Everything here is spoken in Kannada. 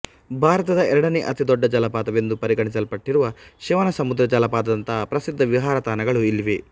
ಭಾರತದ ಎರಡನೆ ಅತಿದೊಡ್ಡ ಜಲಪಾತವೆಂದು ಪರಿಗಣಿಸಲ್ಪಟಿರುವ ಶಿವನಸಮುದ್ರ ಜಲಪಾತದಂತಹ ಪ್ರಸಿದ್ಧ ವಿಹಾರ ತಾಣಗಳು ಇಲ್ಲಿವೆ